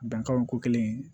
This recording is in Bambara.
Dankari ko kɛlen